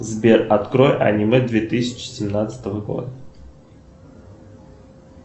сбер открой аниме две тысячи семнадцатого года